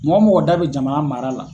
Mɔgɔ mɔgɔ da be jamana mara la